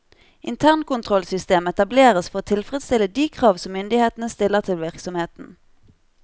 Internkontrollsystem etableres for å tilfredsstille de krav som myndighetene stiller til virksomheten.